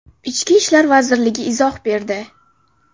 Ichki ishlar vazirligi izoh berdi.